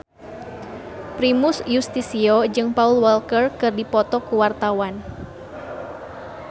Primus Yustisio jeung Paul Walker keur dipoto ku wartawan